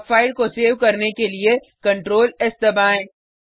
अब फाइल को सेव करने के लिए ctrls दबाएँ